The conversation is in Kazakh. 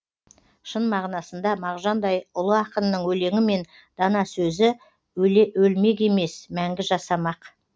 шын мағынасында мағжандай ұлы ақынның өлеңі мен дана сөзі өлмек емес мәңгі жасамақ